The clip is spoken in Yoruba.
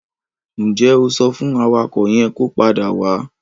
Ǹ jẹ́ o sọ fún awakọ̀ yẹn kó padà wá?